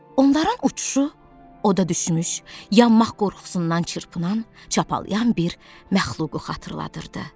Onların uçuşu oda düşmüş, yanmaq qorxusundan çırpınan, çapalıyan bir məxluqu xatırladırdı.